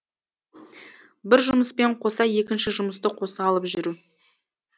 бір жұмыспен қоса екінші жұмысты қоса алып жүру